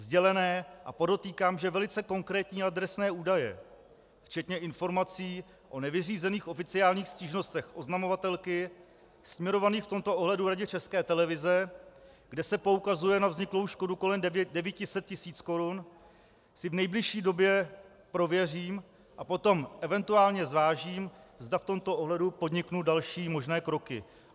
Sdělené a podotýkám, že velice konkrétní adresné údaje včetně informací o nevyřízených oficiálních stížnostech oznamovatelky směrovaných v tomto ohledu Radě České televize, kde se poukazuje na vzniklou škodu kolem 900 tis. korun, si v nejbližší době prověřím a potom eventuálně zvážím, zda v tomto ohledu podniknu další možné kroky.